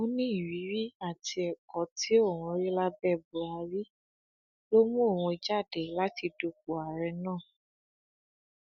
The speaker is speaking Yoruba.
ó ní ìrírí àti ẹkọ tí òun rí lábẹ buhari ló mú òun jáde láti dupò ààrẹ náà